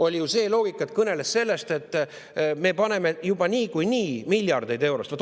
Oli ju see loogika, ta kõneles sellest, et me paneme sinna juba niikuinii miljardeid eurosid.